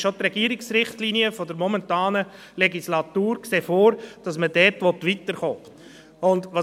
Auch die Regierungsrichtlinien der momentanen Legislatur sehen vor, dass man dort weiterkommen will.